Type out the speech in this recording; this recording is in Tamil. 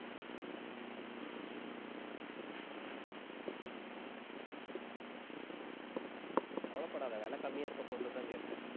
கவலைப்படாத விலை கம்மியா இருக்கிற பொருள்தான் கேட்பேன்